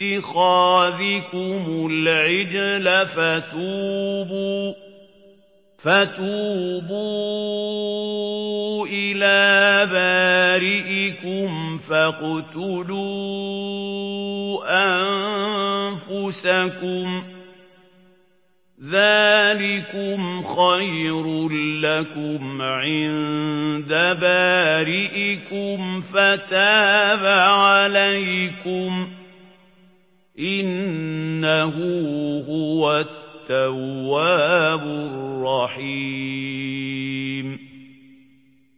بِاتِّخَاذِكُمُ الْعِجْلَ فَتُوبُوا إِلَىٰ بَارِئِكُمْ فَاقْتُلُوا أَنفُسَكُمْ ذَٰلِكُمْ خَيْرٌ لَّكُمْ عِندَ بَارِئِكُمْ فَتَابَ عَلَيْكُمْ ۚ إِنَّهُ هُوَ التَّوَّابُ الرَّحِيمُ